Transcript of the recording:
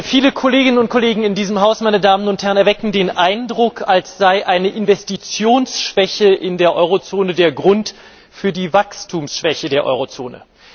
Viele Kolleginnen und Kollegen in diesem Haus erwecken den Eindruck, als sei eine Investitionsschwäche in der Eurozone der Grund für die Wachstumsschwäche der Eurozone.